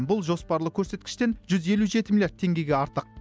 бұл жоспарлы көрсеткіштен жүз елу жеті миллиард теңгеге артық